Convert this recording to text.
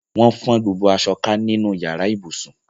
Wọ́n fọ́n gbogbo aṣọ ká nínú yàrá ibùsùn.